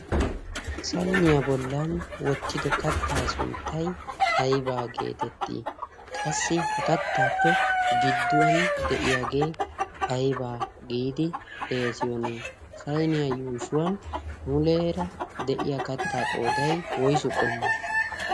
sayniyaa bollan wottido kattaa sunttay aybaa geetettii qassi ha kattaappe gidduwan de'iyaagee aibaa giidi xeasiyoni sainiyaa yuushuwan muleera de'iya kattaa qooday woysu qommo?